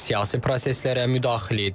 Siyasi proseslərə müdaxilə edib.